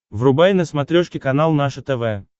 врубай на смотрешке канал наше тв